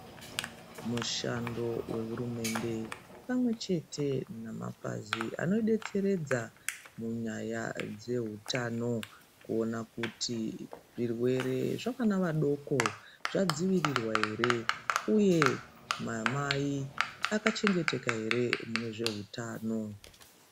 Mushando wehurumende pamwechete nemapazi anodetseredza munyaya dzehutano kuona kuti zvirwere zvavana vadoko zvadzivirirwa ere uye mamai akachengeteka here munyaya yezvehutano.